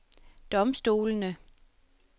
domstolene